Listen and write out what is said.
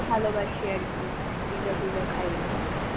ভালবাসি আর কি. pizza টিজা খাই.